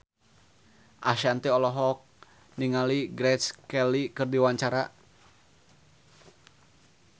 Ashanti olohok ningali Grace Kelly keur diwawancara